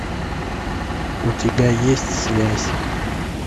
у тебя есть связь